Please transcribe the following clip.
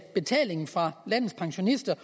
at betalingen fra landets pensionister